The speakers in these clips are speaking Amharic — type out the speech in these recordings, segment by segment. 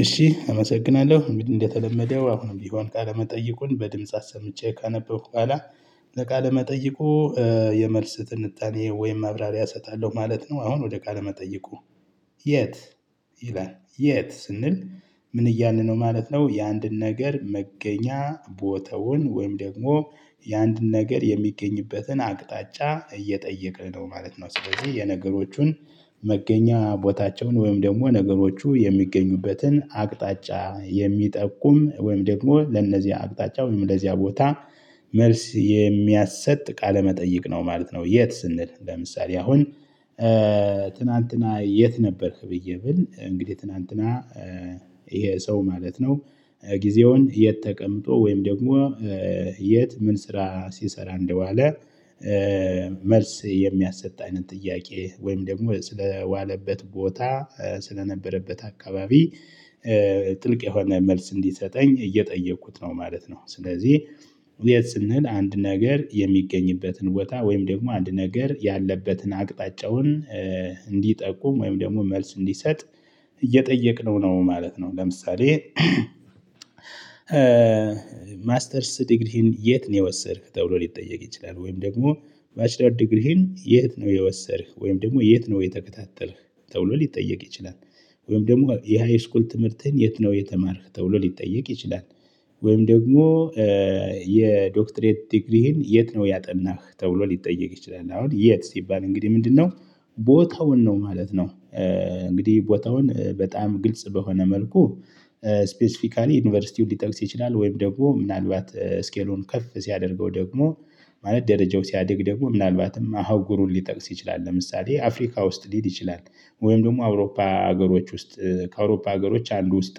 እአመሰግናለሁ። እንግዲህ እንደተለመደው አሁንም ቢሆን ቃለመጠይቁን በድምጽ አሰምቼ ካነበብኩ ኃላ ለቃለ መጠይቁ የመልስ ትንታኔ ወይም ማብራሪያ እሰጣለሁ ማለት ነው። አሁን ወደ ቃለ መጠይቁ የት ይላ? የት ስንል ምን እያልን ነው ማለት ነው። የአንድን ነገር መገኛ ቦታውን ወይም ደግሞ የአንድ ነገር የሚገኝበትን አቅጣጫ እየጠየቅን ነው። ማለት ነው ስለዚህ የነገሮቹን መገኛ ቦታቸውን ወይም ደግሞ ነገሮቹ የሚገኙበትን አቅጣጫ የሚጠቁም ወይም ደግሞ ለነዚህ አቅጣጫ ወይም ለዚያ ቦታ መልስ የሚያሰጥ ቃለመጠይቅ። ማለት ነው የት ስንል ለምሳሌ አሁን ትናንትና የት ነበርክ? ብዬ ብል እንግዲህ ትናንትና ይሄ ሰው ማለት ነው። ጊዜውን የት ተቀምጦ ወይም ደግሞ የት ምን ስራ ሲሰራ እንደዋለ መልስ የሚያሰጥ አይነት ጥያቄ ወይም ደግሞ ስለዋለበት ቦታ ስለነበረበት አካባቢ ጥልቅ የሆነ መልስ እንዲሰጠኝ እየጠየኩት ነው። ማለት ነው ስለዚህ የት ስን? አንድ ነገር የሚገኝበትን ቦታ ወይም ደግሞ አንድ ነገር ያለበትን አቅጣጫውን እንዲጠቁም ወይም ደግሞ መልስ እንዲሰጥ እየጠየቅነው ነው። ማለት ነው ለምሳሌ ማስተርስ ዲግሪህን የት ነው? የወሰድክ ተብሎ ሊጠየቅ ይችላል። ወይም ደግሞ ማስተርስ ዲግሪህን የት ነው የወሰድክ? ወይም ደግሞ የት ነው የተከታተልክ? ተውሎ ሊጠየቅ ይችላል። ወይም ደግሞ የሃይስኩል ትምህርትህን የት ነው? የተማርክ ተብሎ ሊጠየቅ ይችላል። ወይም ደግሞ የዶክትሬት ዲግሪህን የት ነው? ያጠናህ ተብሎ ሊጠየቅ ይችላል። አሁን የት? ሲባል እንግዲህ ምንድነው ቦታውን ነው። ማለት ነው እንግዲህ ቦታውን በጣም ግልጽ በሆነ መልኩ ስፔሲፊካሊ ዩኒቨርሲቲውን ሊጠቅስ ይችላል። ወይም ደግሞ ምናልባት ስኬሉን ከፍ ሲያደርገው ደግሞ ማለት ደረጃው ሲያድግ ደግሞ ምናልባትም ሀገሩን ሊጠቅስ ይችላል። ለምሳሌ አፍሪካ ውስጥ ሊል ይችላል። ወይም ደግሞ አውሮፓ ሀገሮች ውስጥ ከአውሮፓ ሀገሮች አንዱ ውስጥ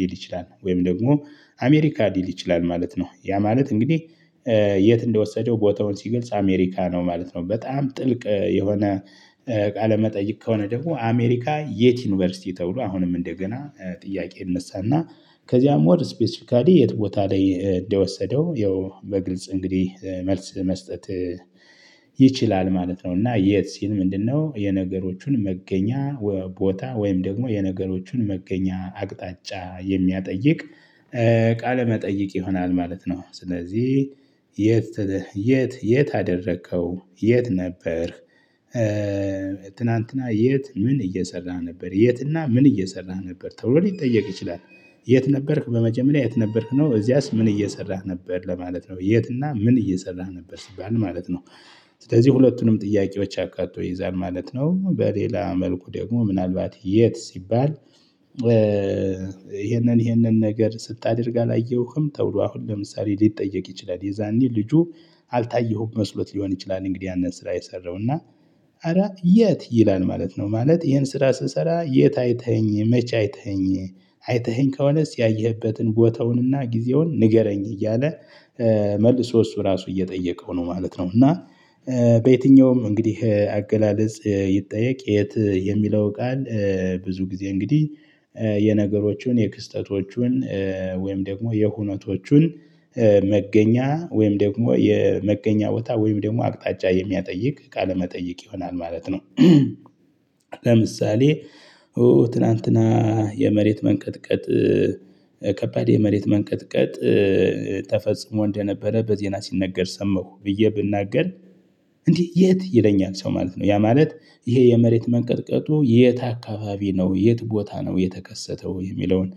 ሊል ይችላል። ወይም ደግሞ አሜሪካ ሊል ይችላል። ማለት ነው ያ ማለት እንግዲህ የት እንደወሰደው ቦታውን ሲገልጽ አሜሪካ ነው። ማለት ነው በጣም ጥልቅ የሆነ ቃለ መጠይቅ ከሆነ ደግሞ አሜሪካ የት ዩኒቨርሲቲ? ተብሎ አሁንም እንደገና ጥያቄ ይነሳና ከዚያም ወር ስፔሲፊካሊ የት ቦታ ላይ እንደወሰደው ያው በግልጽ እንግዲህ መልስ መስጠት ይችላል። ማለት ነው እና የት? ሲል ምንድነው የነገሮቹን መገኛ ቦታ ወይም ደግሞ የነገሮቹን መገኛ አቅጣጫ የሚያጠይቅ ቃለ መጠይቅ ይሆናል። ማለት ነው ስለዚህ የት የት? የት አደረከው? የት? ነበር ትናንትና የት? ምን እየሰራ ነበር? የትና ምን እየሰራህ ነበር? ተውሎ ሊጠየቅ ይችላል። የት ነበርክ? በመጀመሪያ የት ነበርክ? ነው እዚያስ ምን እየሰራህ ነበር? ለማለት ነው የትና ምን እየሰራህ ነበር? ሲባል ማለት ነው ስለዚህ ሁለቱንም ጥያቄዎች አካቶ ይይዛል። ማለት ነው በሌላ መልኩ ደግሞ ምናልባት የት ሲባል? ይሄንን ይሄንን ነገር ስታደርግ አላየሁህም ተብሎ አሁን ለምሳሌ ሊጠየቅ ይችላል። የዛኒ ልጁ አልታየሁም መስሎት ሊሆን ይችላል። እንግዲህ ያንን ስራ የሰራውና እረ የት? ይላል ማለት ነው ማለት ይሄን ስራ ስሰራ የት አይተኸኝ? መቼ አይተኸኝ? አይተኸኝ ከሆነስ ያየህበትን ቦታውንና ጊዜውን ንገረኝ። እያለ መልሶ እሱ ራሱ እየጠየቀው ነው። ማለት ነው እና በየትኛውም እንግዲህ አገላለጽ ይጠየቅ። የት? የሚለው ቃል ብዙ ጊዜ እንግዲህ የነገሮችን የክስተቶቹን ወይም ደግሞ የሁነቶቹን መገኛ ወይም ደግሞ የመገኛ ቦታ ወይም ደግሞ አቅጣጫ የሚያጠይቅ ቃለመጠይቅ ይሆናል። ማለት ነው ለምሳሌ ኡ ትላንትና የመሬት መንቀጥቀጥ ከባድ የመሬት መንቀጥቀጥ ተፈጽሞ እንደነበረ በዜና ሲነገር ሰምሁ ብዬ ብናገር እንዴ! የት? ይለኛል ሰው ማለት ነው። ያ ማለት ይሄ የመሬት መንቀጥቀጡ የት አካባቢ ነው? የት ቦታ ነው የተከሰተው? የሚለውን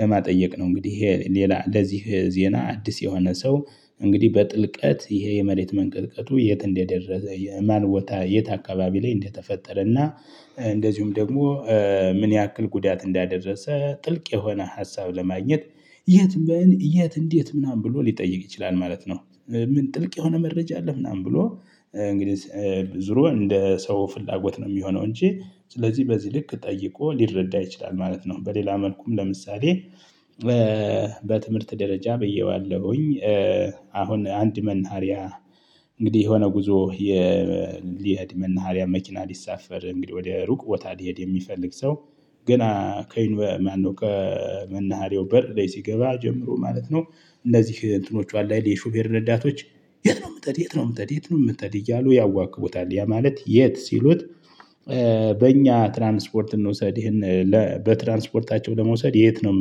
ለማጥየቅ ነው እንግዲህ ይሄ ሌላ ለዚህ ዜና አዲስ የሆነ ሰው እንግዲህ በጥልቀት ይሄ የመሬት መንቀልቀቱ የት እንደደረሰ? የማን ቦታ? የት አካባቢ? ላይ እንደተፈጠረና እንደዚሁም ደግሞ ምን ያክል ጉዳት እንዳደረሰ ጥልቅ የሆነ ሀሳብ ለማግኘት የት? ምን? የት? እንዴት? ምናምን ብሎ ሊጠይቅ ይችላል ማለት ነው። ምን ጥልቅ የሆነ መረጃ አለ? ምናምን ብሎ እንግዲህ ዙሮ እንደ ሰው ፍላጎት ነው የሚሆነው እንጂ ስለዚህ በዚህ ልክ ጠይቆ ሊረዳ ይችላል። ማለት ነው በሌላ መልኩም ለምሳሌ በትምህርት ደረጃ ብዬዋለሁኝ አሁን አንድ መናሀሪያ እንግዲህ የሆነ ጉዞ የሊድ መናሃሪያ መኪና ሊሳፈር እንግዲህ ወደ ሩቅ ቦታ ሊሄድ የሚፈልግ ሰው ገና ከይኑበ ማን ነው ቀን መናሃሪው በር ላይ ሲገባ ጀምሮ ማለት ነው እንደዚህ እንትኖቿን ላይ የሾፌር ነዳቶች የት ነው? የምትሄድ የት ነው? የምትሄድ የት ነው? የምትሄድ እያሉ ያዋክቡታል ያ ማለት የት? ሲሉት በእኛ ትራንስፖርት እንውሰድ ይሄን በትራንስፖርታቸው ለመውሰድ የት ነው?